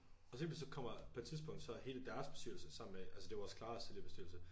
Og så lige pludselig så kommer på et tidspunkt så er hele deres bestyrelse sammen med altså det er også Claras tidligere bestyrelse